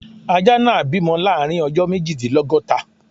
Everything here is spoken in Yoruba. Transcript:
Ajá náà bímọ láàrin ọjọ́ méjìdínlọ́góta.